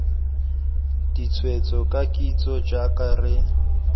ditshwetso ka kitso jaaka re